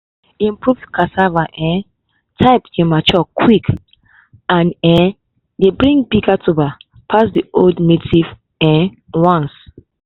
improved cassava um type dey mature quick and um dey bring bigger tuber pass the old native um ones.